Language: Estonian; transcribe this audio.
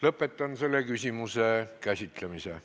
Lõpetan selle küsimuse käsitlemise.